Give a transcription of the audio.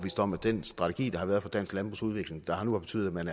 om at den strategi der har været for dansk landbrugs udvikling der har betydet at man